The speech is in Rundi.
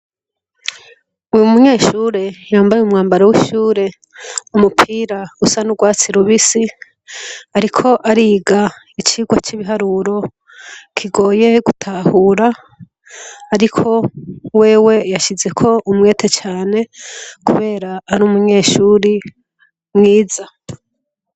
Uyu munyeshuri yambaye mumwambaro w'ishure umupira usa n'urwatsi lubisi, ariko ariga icirwa c'ibiharuro kigoye gutahura, ariko wewe yashizeko umwete cane, kubera ari umunyeshuri a mwiza.